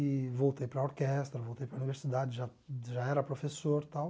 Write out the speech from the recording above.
E voltei para a orquestra, voltei para a universidade, já já era professor e tal.